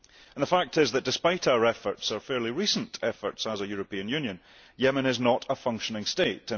The fact is that, despite our fairly recent efforts as a European Union, Yemen is not a functioning state.